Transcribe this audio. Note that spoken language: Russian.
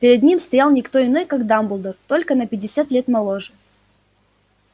перед ним стоял не кто иной как дамблдор только на пятьдесят лет моложе